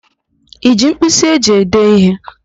I ji mpkịsị e ji ede ihe?